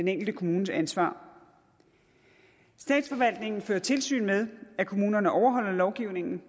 den enkelte kommunes ansvar statsforvaltningen fører tilsyn med at kommunerne overholder lovgivningen